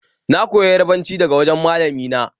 Na koyi Yarabanci daga wajen malami na